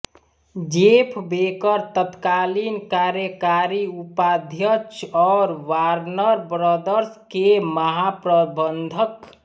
Jeff Baker तत्कालीन कार्यकारी उपाध्यक्ष और वार्नर ब्रदर्स के महाप्रबंधक